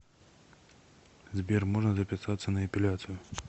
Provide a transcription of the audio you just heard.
сбер можно записаться на эпиляцию